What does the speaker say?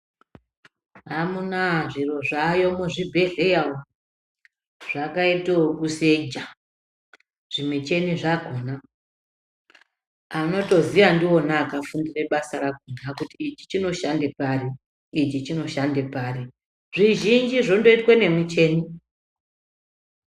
Amunaa zviro zvaayo muzvibhedhleya umu zvakaita ekuseja, zvimuchini zvakona anotoziya ndiwona akafundira basa rakona kuti ichi chinoshande pari ichi chinoshande pari zvizhinji zvondoitwe nemuchini.